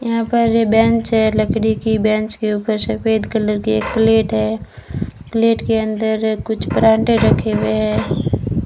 यहां पर ये बेंच है लकड़ी की बेंच के ऊपर सफेद कलर की एक प्लेट है प्लेट के अंदर कुछ परांठे रखे हुए हैं।